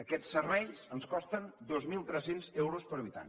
aquests serveis ens costen dos mil tres cents euros per habitant